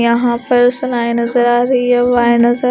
यहां पर सलाए नजर आ रही है वाय नजर--